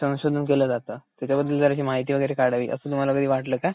संशोधन केलं जात त्याच्याबद्दल जराशी माहिती वैगरे काढावी असं तुम्हाला कधी वाटलं का?